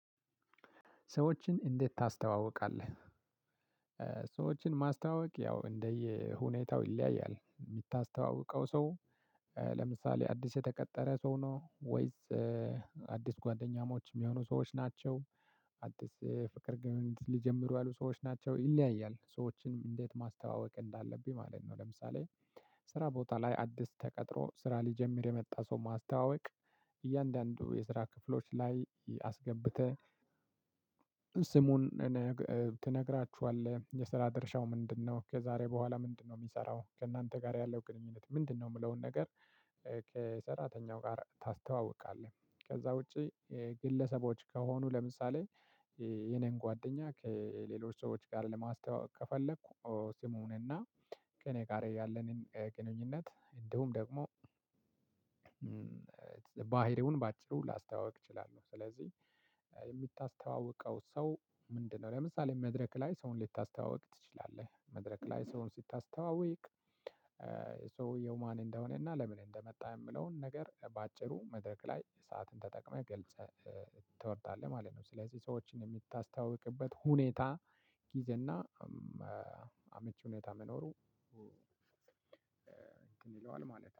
ሰዎችን እንዴት ታስተዋውቃለህ? ሰዎችን ማስተዋወቅ ያው እንደየሁኔታው ይለያያል የምታስተዋውቀው ሰው ለምሳሌ አዲስ የተቀጠረ ሰው ነው ወይስ አዲስ ጓደኛሞች የሚሆኑ ሰዎች ናቸው። አዲስ ፍቅር ሊጀምሩ ያሉ ሰዎች ናቸው ይለያያል ሰዎችን እንዴት ማስተዋወቅ እንዳለብኝ ማለት ነው። ለምሳሌ ስራ ቦታ ላይ አዲስ ተቀጥሮ ስራ ሊጀምር የመጣ ሰው ማስተዋወቅ እያንዳንዱ የስራ ክፍሎች ላይ አስገብተህ። ስሙን ትነግራቸዋለህ የስራ ድርሻው ምንድነው ከዛሬ በኋላ ምንድነው የሚሰራው ከእናንተ ጋር ያለው ግንኙነት ምንድነው? የሚለውን ነገር ከሰራተኛው ጋር ታስተዋውቃለህ። ከዛ ውጪ። ግለሰቦች ከሆኑ ለምሳሌ የኔን ጓደኛ ከሌሎች ሰዎች ጋር ለማስተዋወቅ ከፈለኩ። ስሙንና ከእኔ ጋር ያለንን ግንኙነት እንዲሁም ደግሞ ባህሪውን በአጭሩ ላስተዋውቅ እችላለሁ። ስለዚህ የምታስተዋውቀው ሰው ምንድነው? ለምሳሌ መድረክ ላይ ሰውን ልታስተዋወቅ ትችላለህ። መድረክ ላይ ሰውን ስታስተዋወቅ ሰውየው ማን እንደሆነና ለምን እንደመጣ የሚለውን ነገር በአጭሩ መድረክ ላይ ሰዓትህን ተጠቅመህ ገልጸህ ትወርዳለህ። ማለት ነው። ስለዚህ ሰዎችን የምታስተዋውቅበት ሁኔታ ጊዜና አመቺ ሁኔታ መኖሩ እንትን ይለዋል ማለት ነው